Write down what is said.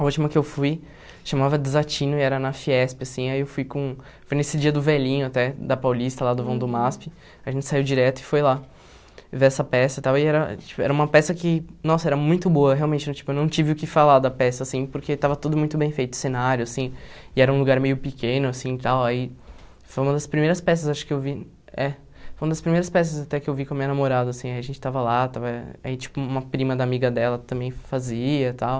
A última que eu fui chamava Desatino e era na Fiesp, assim, aí eu fui com... Foi nesse dia do velhinho até, da Paulista, lá do Vão do Masp, a gente saiu direto e foi lá ver essa peça e tal, e era tipo era uma peça que, nossa, era muito boa, realmente, tipo, eu não tive o que falar da peça, assim, porque estava tudo muito bem feito, o cenário, assim, e era um lugar meio pequeno, assim, e tal, aí foi uma das primeiras peças, acho que eu vi... É, foi uma das primeiras peças até que eu vi com a minha namorada, assim, aí a gente estava lá, estava... Aí, tipo, uma prima da amiga dela também fazia e tal...